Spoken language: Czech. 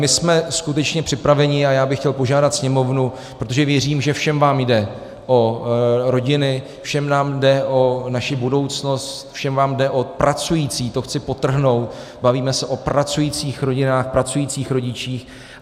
My jsme skutečně připraveni, a já bych chtěl požádat Sněmovnu, protože věřím, že všem vám jde o rodiny, všem nám jde o naši budoucnost, všem vám jde o pracující - to chci podtrhnout, bavíme se o pracujících rodinách, pracujících rodičích.